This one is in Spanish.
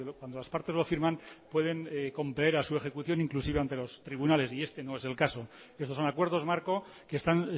cuando las partes lo firman pueden compeler a su ejecución inclusive ante los tribunales y este no es el caso estos son acuerdos marco que están